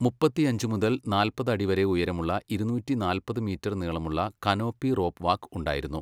മുപ്പത്തിയഞ്ച് മുതൽ നാല്പത് അടി വരെ ഉയരമുള്ള ഇരുന്നൂറ്റി നാല്പത് മീറ്റർ നീളമുള്ള കനോപ്പി റോപ്പ് വാക്ക് ഉണ്ടായിരുന്നു.